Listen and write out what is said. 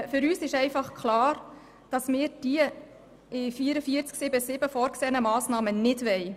Für uns ist klar, dass wir die unter 44.7.7 vorgesehenen Massnahmen nicht wollen.